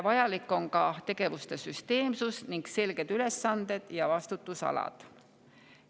Vajalik on ka tegevuste süsteemsus ning selged ülesanded ja vastutusalad.